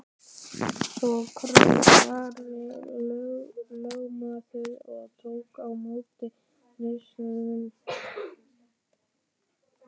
Svo kraup Ari lögmaður og tók á móti Kristi.